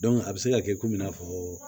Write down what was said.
a bɛ se ka kɛ komi i n'a fɔ